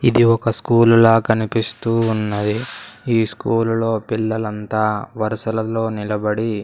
ఇది ఒక స్కూలు లా కనిపిస్తూ ఉన్నది ఈ స్కూలు లో పిల్లలంతా వరుసలలో నిలబడి.